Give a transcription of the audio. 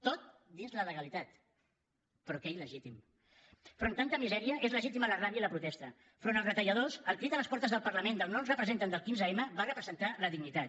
tot dins la legalitat però que il·legítim davant de tanta misèria és legítima la ràbia i la protesta davant els retalladors el crit a les portes del parlament del no ens representen del quinze m va representar la dignitat